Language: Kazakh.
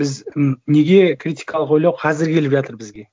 біз м неге критикалық ойлау қазір келіп жатыр бізге